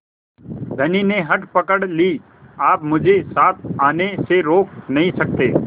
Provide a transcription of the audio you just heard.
धनी ने हठ पकड़ ली आप मुझे साथ आने से रोक नहीं सकते